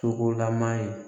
Sogolama ye